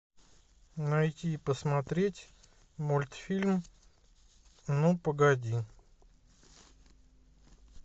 найти и посмотреть мультфильм ну погоди